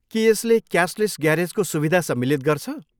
के यसले क्यासलेस ग्यारेजको सुविधा सम्मिलित गर्छ?